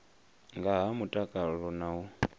nga ha mutakalo na u